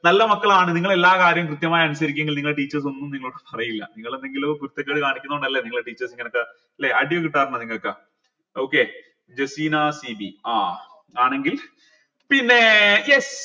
നല്ല മക്കളാണ് നിങ്ങളെ എല്ലാ കാര്യം കൃത്യമായി അനുസരിക്കു എങ്കിൽ നിങ്ങളെ teachers ഒന്നു നിങ്ങളോട് പറയില്ല നിങ്ങൾ എന്തെങ്കിലോ കുരുത്തക്കേട് കാണിക്കുന്നൊണ്ടല്ലേ നിങ്ങളെ teachers ഇങ്ങനത്തെ ല്ലെ അടി കിട്ടാറുണ്ടോ നിങ്ങക്ക് okay ജസീന സി വി ആ ആണെങ്കിൽ പിന്നെ yes